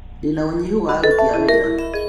Ndĩna ũnyihu wa aruti a wĩra